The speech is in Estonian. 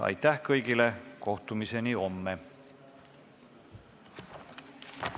Aitäh kõigile, kohtumiseni homme!